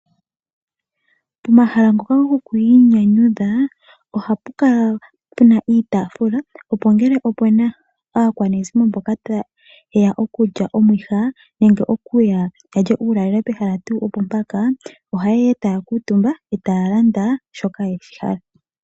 Pomahala ngoka gokwiinyanyudha ohapu kala pe na iitafula opo ngele ope na aakwanezimo mboka ye ya okulya omwiha nenge okulya uulalelo pehala opo tuu mpaka, ohaye ya e taya kala omutumba yo taya landa shoka ya hala.